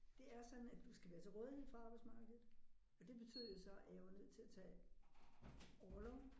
Det er sådan at du skal være til rådighed for arbejdsmarkedet og det betød jo så at jeg var nødt til at tage orlov